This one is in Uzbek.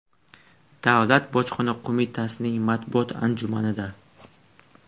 Davlat bojxona qo‘mitasining matbuot anjumanida.